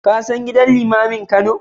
Ka san gidan limamin Kano?